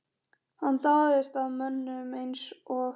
Hann dáðist að mönnum eins og